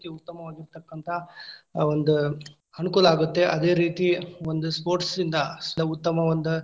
ಉತ್ತಮವಾಗಿರತಕ್ಕಂತಹ ಆ ಒಂದ್ ಅನುಕೂಲ ಆಗುತ್ತೆ. ಅದೇ ರೀತಿ ಒಂದು sports ಇಂದ ಲ ಉತ್ತಮ ಒಂದ್